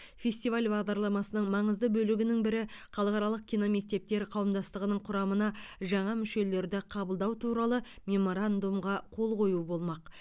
фестиваль бағдарламасының маңызды бөлігінің бірі халықаралық киномектептер қауымдастығының құрамына жаңа мүшелерді қабылдау туралы меморандумға қол қою болмақ